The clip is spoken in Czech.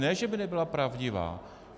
Ne že by nebyla pravdivá.